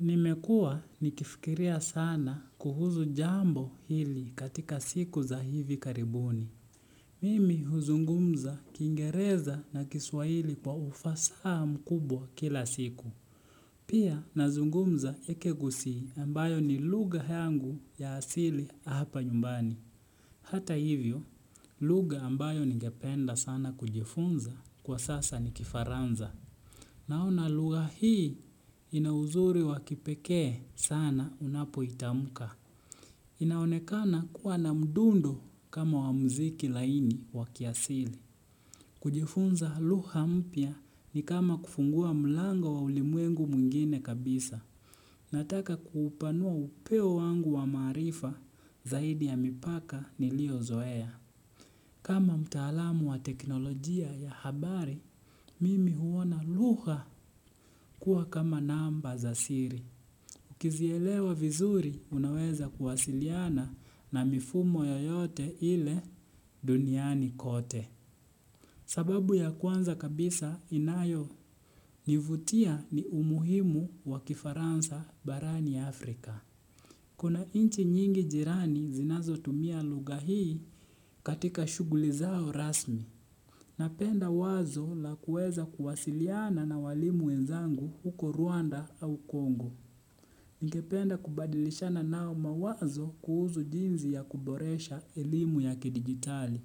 Nimekuwa nikifikiria sana kuhusu jambo hili katika siku za hivi karibuni. Mimi huzungumza kiingereza na kiswahili kwa ufasaha mkubwa kila siku. Pia nazungumuza ekegusi ambayo ni lugha yangu ya asili hapa nyumbani. Hata hivyo, lugha ambayo ningependa sana kujifunza kwa sasa ni kifaransa. Naona lugha hii ina uzuri wa kipekee sana unapoitamka. Inaonekana kuwa na mdundu kama wa muziki laini wa kiasili. Hata hivyo, lugha ambayo ningependa sana kujifunza kwa sasa nikifaransa. Nataka kuupanua upeo wangu wa maarifa zaidi ya mipaka niliozoea. Kama mtaalamu wa teknolojia ya habari, mimi huona lugha kuwa kama namba za siri. Ukizielewa vizuri, unaweza kuwasiliana na mifumo yoyote ile duniani kote. Sababu ya kwanza kabisa inayonivutia ni umuhimu wa kifaransa barani Afrika. Kuna nchi nyingi jirani zinazotumia lugha hii katika shughuli zao rasmi. Napenda wazo la kuweza kuwasiliana na walimu wenzangu huko Rwanda au Kongo. Ningependa kubadilishana nao mawazo kuhusu jinsi ya kuboresha elimu ya kidijitali.